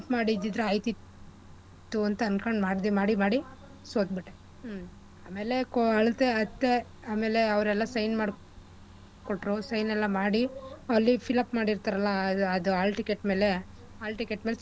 ಮಾಡಿದ್ದಿದ್ರೆ ಆಯ್ತಿತ್ತು ಅಂತ್ ಅನ್ಕೊಂಡ್ ಮಾಡಿ ಮಾಡಿ ಸೋತ್ಬಿಟ್ಟೆ ಹ್ಮ್ ಆಮೇಲೆ ಅಳ್ತೆ ಅತ್ತೆ ಆಮೇಲೆ ಅವ್ರೆಲ್ಲ sign ಮಾಡಿ ಕೊಟ್ರು sign ಎಲ್ಲಾ ಮಾಡಿ ಅಲ್ಲಿ fillup ಮಾಡಿರ್ತಾರಲ್ಲ ಆ ಅದು hall ticket ಮೇಲೆ hall ticket ಮೇಲೆ sign